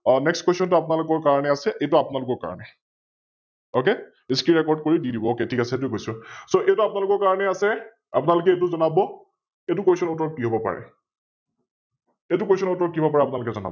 NextQuestion টো আপোনালোকৰ কাৰনে আছে এইতো আপোনালোকৰ কাৰনে OkScreenRecord কৰি দি দিব । Ok ঠিক আছে সৈটো কৈছো । So এইতো আপোনালোকৰ কাৰনে আছে, আপোনলোকে ইতো জনাব এ ইতো Question উত্তৰ কি হব পাৰে? এইতো Question উত্তৰ কি হব পাৰে আপোনালোকে জনাব